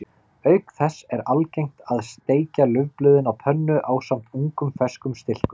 Auk þess er algengt að steikja laufblöðin á pönnu ásamt ungum ferskum stilkum.